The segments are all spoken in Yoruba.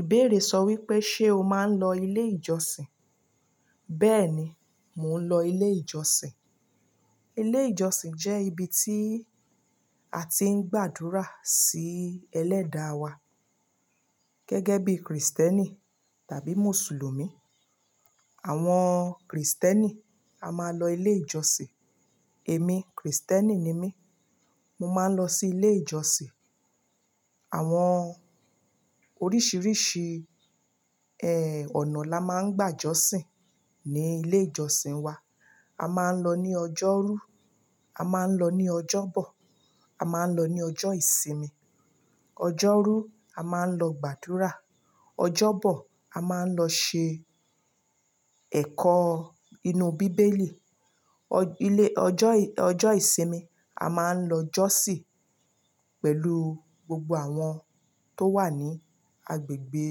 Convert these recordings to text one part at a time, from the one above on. Ìbéèrè sọ wípé, ṣé o máa ń lọ ilé ìjọsìn? Bẹ́ẹ̀ni, mò ń lọ ilé ìjọsìn. Ilé ìjọsìn jẹ́ ibi tí a ti ń gbàdúrà sí ẹlẹ́da wà, gẹ́gẹ́ bí Krìstẹ́nì tàbí Mùsùlùmí. Àwọn Krìstẹ́nì a máa lọ ilé ìjọsìn. Èmi, Krìstẹ́nì ni mí, mo máa ń lọ sí ilé ìjọsìn. Àwọn oríṣiríṣi, ẹ, ọ̀nà la máa ń gbàjọ́sìn ní ilé ìjọsìn wa. A máa ń lọ ní ọjọ́rú, a máa ń lọ ní ọjọ́bọ̀, a máa ń lọ ní ọjọ́ ìsinmi. Ọjọ́rú a máa ń lọ gbàdúrà, ọjọ́bọ̀ a máa ń lọ ṣe ẹ̀kọ́ inú bíbélì, ọjọ́ ìsìnmi a máa ń lọ jọ́sìn pẹ̀lú gbogbo àwọn tó wà ní agbègbè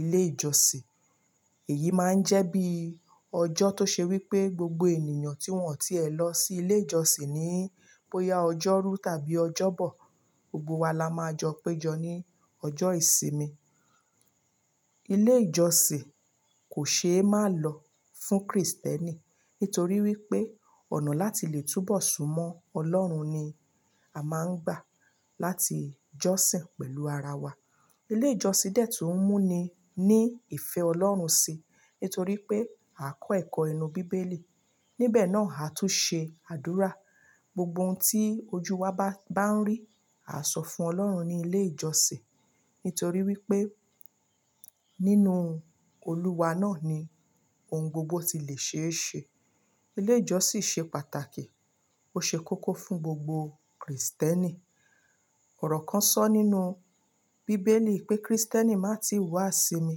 ilé ìjọsìn. Èyí máa ń jẹ́ bí ọjọ́ tó ṣe wípé gbogbo ènìyàn tí wọ́n ò tí è lọ sí ilé ìjọsìn ní bóyá ọjọ́rú tàbí ọjọ́bọ̀, gbogbo wa la máa jọ péjọ ní ọjọ́ ìsinmi. Ilé ìjọsìn kò ṣe é má lọ fún Krìstẹ́nì, nítorí wípé ọ̀nà láti lè túbọ̀ súnmọ́ Ọlọ́run ni a máa ń gbà láti jọ́sìn pẹ̀lú ara wa. Ilé ìjọsìn dẹ́ tún mú ni ní ìfẹ́ Ọlọ́run si, nítorí pé a kọ́ ẹ̀kọ́ inú bíbélì, níbẹ̀ náà a tún ṣe àdúrà. Gbogbo oun tí ojú wa bá ń rí, à sọ fún Ọlọ́run ní ilé ìjọsìn, nítorí wípé nínú Olúwa náà ni oun gbogbo ti le ṣe é ṣe. Ilé ìjọsìn ṣe pàtàkì, ó ṣe kókó fún gbogbo Krìstẹ́nì. Ọ̀rọ̀ kan sọ nínú bíbélì pé Krìstẹ́nì má tí i wá sinmi,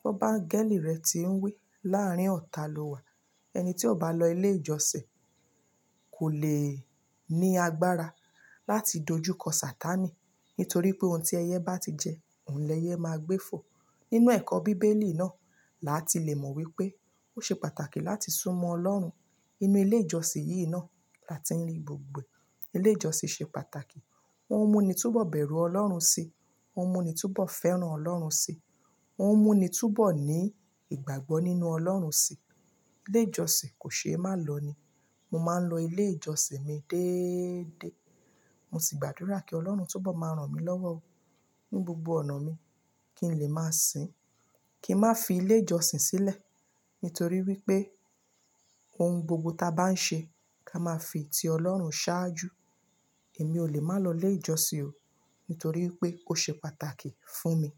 gbọ́ bí áńgẹ́lì rẹ̀ ti ń wí láàrin ọ̀tà lọ́wà. Ẹni tí ò bá lọ ilé ìjọsìn kò le ní agbára láti dojúkọ Satánì, nítorí pé oun tí ẹyẹ bá ti jẹ, òun l'ẹyẹ máa gbé fò. Nínú ẹ̀kọ́ bíbélì náà là tí le mọ̀ wípé ó ṣe pàtàkì láti súnmọ́ Ọlọ́run. Inú ilé ìjọsìn yìí náà la ti ń gbògbo ẹ. Ilé ìjọsìn ṣe pàtàkì, ó ń mú ni túbọ̀ bẹ̀rù Ọlọ́run si, ó ń mú ni túbọ̀ fẹ́ràn Ọlọ́run si, ó ń mú ni túbọ̀ ní ìgbàgbọ́ nínú Ọlọ́run si. Ilé ìjọsìn kò ṣe é má lọ ní. Mo máa ń lọ ilé ìjọsìn mi déééde. Mo sì gbàdúrà kí Ọlọ́run túbọ̀ máa ràn mí lọ́wọ́ o ní gbogbo ọ̀nà mi kí n lè máa sìn. Kí n má fi ilé ìjọsìn sílẹ̀, nítorí wípé ohun gbogbo ta bá ń ṣe, ká máa fi ti Ọlọ́run saájú. Èmi ò lè má lọ ilé ìjọsìn o, nítorí pé ó ṣe pàtàkì fún mi.